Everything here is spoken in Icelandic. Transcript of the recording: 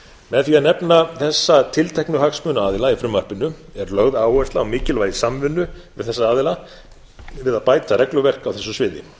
með því að nefna þessa tilteknu hagsmunaaðila í frumvarpinu er lögð áhersla á mikilvægi samvinnu við þessa aðila við að bæta regluverk á þessu sviði